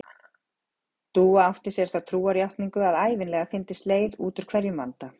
Dúa átti sér þá trúarjátningu að ævinlega fyndist leið út úr hverjum vanda.